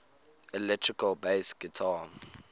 electric bass guitar